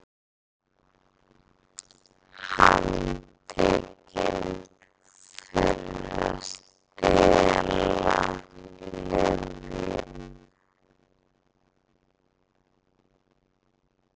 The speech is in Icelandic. Handtekin fyrir að stela lyfjum